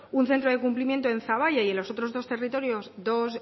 un centro de cumplimiento en zaballa y en los otros dos territorios